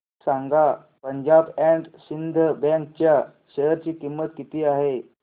सांगा Punjab and Sind bank च्या share ची किंमत किती आहे